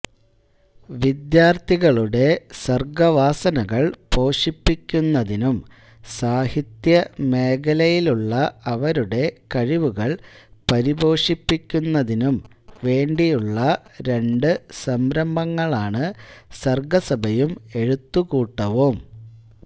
വിദ്യാർത്ഥികളുടെ സർ്ഗ്ഗവാസനകൾ പോഷിപ്പിക്കുന്നതിനും സാഹിത്യ മേഖലയിലുള്ള അവരുടെ കഴിവുകൾ പരിപോഷിപ്പിക്കുന്നതിനും വേണ്ടിയുള്ള രംണ്ട് സംരംഭങ്ങളാണ് സർഗസഭയും എഴുത്തുകൂട്ടവും